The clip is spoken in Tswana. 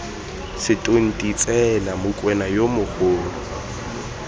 setonti tsena mokwena yo mogolo